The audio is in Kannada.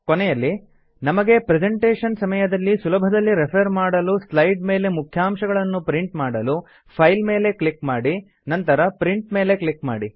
ಕೊನೆಯಲ್ಲಿ ನಮಗೆ ಪ್ರೆಸೆಂಟೇಶನ್ ಸಮಯದಲ್ಲಿ ಸುಲಭದಲ್ಲಿ ರೆಫರ್ ಮಾಡಲು ಸ್ಲೈಡ್ ಮೇಲೆ ಮುಖ್ಯಾಂಶಗಳನ್ನು ಪ್ರಿಂಟ್ ಮಾಡಲು ಫೈಲ್ ಮೇಲೆ ಕ್ಲಿಕ್ ಮಾಡಿ ನಂತರ ಪ್ರಿಂಟ್ ಕ್ಲಿಕ್ ಮಾಡಿ